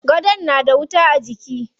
Gadon na da wuta a jiki.